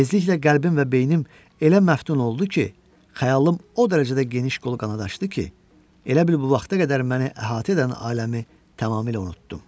Tezliklə qəlbim və beynim elə məftun oldu ki, xəyalım o dərəcədə geniş qol qanad açdı ki, elə bil bu vaxta qədər məni əhatə edən aləmi tamamilə unutdum.